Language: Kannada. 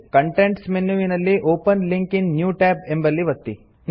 ಕಾಂಟೆಕ್ಸ್ಟ್ ಮೆನ್ಯುವಿನಲ್ಲಿ open link in new tab ಎಂಬಲ್ಲಿ ಒತ್ತಿರಿ